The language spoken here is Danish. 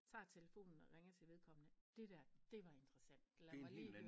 Tager telefonen og ringer til vedkommende det dér det var interessant lad mig lige